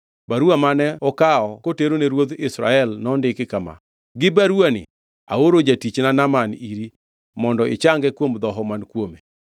Baruwa mane okawo koterone ruodh Israel nondik kama: “Gi baruwani aoro jatichna Naaman iri mondo ichange kuom dhoho man kuome.”